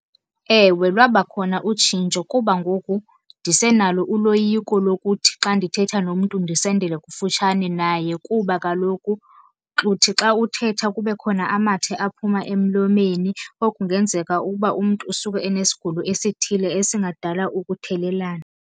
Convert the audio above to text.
Ewe, lwabakhona utshintsho kuba ngoku ndisenalo uloyiko lokuthi xa ndithetha nomntu ndisondele kufutshane naye kuba kaloku uthi xa uthetha kube khona amathe aphuma emlomeni or kungenzeka ukuba umntu usuke enesigulo esithile esingadala ukuthelelana.